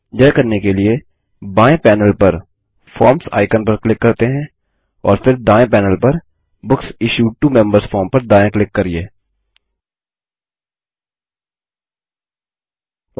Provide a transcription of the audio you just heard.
यह करने के लिए बाएँ पैनेल पर फॉर्म्स आइकन पर क्लिक करते हैं और फिर दायें पैनेल पर books issued to members form पर दायाँ क्लिक करिये